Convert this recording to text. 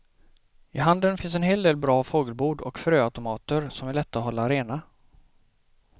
I handeln finns en hel del bra fågelbord och fröautomater som är lätta att hålla rena.